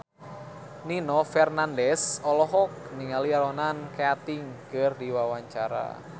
Nino Fernandez olohok ningali Ronan Keating keur diwawancara